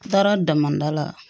N taara daminda la